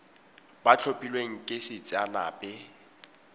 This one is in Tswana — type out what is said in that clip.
ba tlhophilweng ke sacnasp e